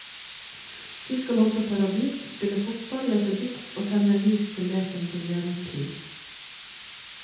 De skal hoppe paradis, spille fotball, lese dikt og tenne lys til lekens og gledens pris.